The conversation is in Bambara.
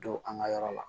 Don an ka yɔrɔ la